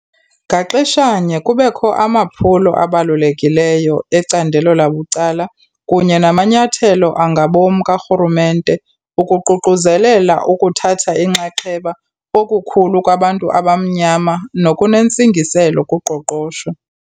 Ngaxeshanye, kubekho amaphulo abalulekileyo ecandelo labucala kunye namanyathelo angabom karhulumente ukuququzelela ukuthatha inxaxheba okukhulu kwabantu abamnyama nokunentsingiselo kuqoqosho.